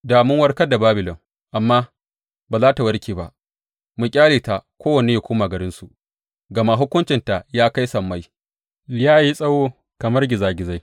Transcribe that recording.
Da mun warkar da Babilon, amma ba za tă warke ba; mu ƙyale ta kowane yă koma garinsu, gama hukuncinta ya kai sammai, ya yi tsawo kamar gizagizai.’